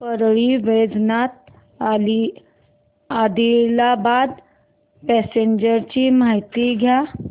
Parli Vaijnath Adilabad passenger ची माहिती द्या